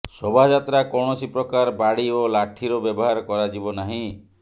ଶୋଭାଯାତ୍ରା କୌଣସି ପ୍ରକାର ବାଡ଼ି ଓ ଲାଠିର ବ୍ୟବହାର କରାଯିବ ନାହିଁ